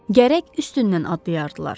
Gərək üstündən adlayardılar.